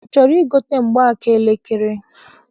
I chọrọ igote mgbaaka elekere?